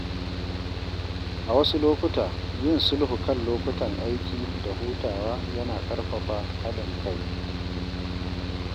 A wasu lokuta, yin sulhu kan lokutan aiki da hutawa yana ƙarfafa haɗin kai.